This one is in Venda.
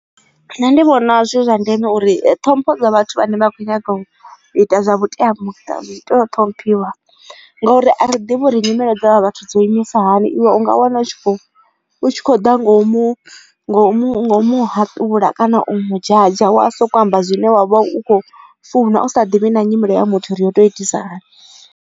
Nṋe ndi vhona zwi zwa ndeme uri ṱhompho dza vhathu vhane vha kho nyaga u ita zwa vhuteamuṱa zwi tea u ṱhomphiwa ngauri a ri ḓivhi uri nyimelo dza vha vhathu dzo imisa hani iwe u nga wana u kho ḓa ngo mu ngo mu ngo mu haṱula kana u mu dzhadzha wa sokou amba zwine wavha u kho funa u sa ḓivhi na nyimelo ya muthu uri yo tou itisa hani.